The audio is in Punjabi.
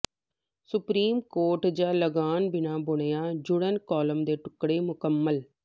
ਸੁਪਰੀਮ ਕੋਰਟ ਜ ਲਾੱਗਆਨ ਬਿਨਾ ਬੁਣਿਆ ਜੁੜਨ ਕਾਲਮ ਦੇ ਟੁਕੜੇ ਮੁਕੰਮਲ